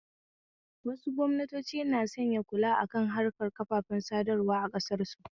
Wasu gwamnatoci na sanya kula akan harkar kafafen sadarwa a ƙasar su